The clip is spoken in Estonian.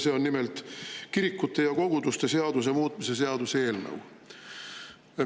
See on nimelt kirikute ja koguduste seaduse muutmise seaduse eelnõu.